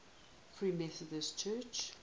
free methodist church